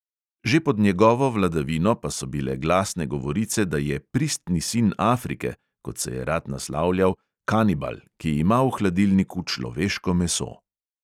Že pod njegovo vladavino pa so bile glasne govorice, da je pristni sin afrike, kot se je rad naslavljal, kanibal, ki ima v hladilniku človeško meso.